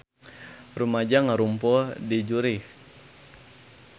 Rumaja ngarumpul di Zurich